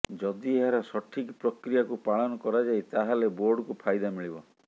ଯଦି ଏହାର ସଠିକ୍ ପ୍ରକ୍ରିୟାକୁ ପାଳନ କରାଯାଏ ତାହେଲେ ବୋର୍ଡକୁ ଫାଇଦା ମିଳିବ